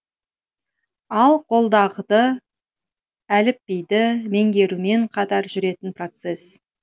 ал қолдағды әліпбиді меңгерумен қатар жүретін процесс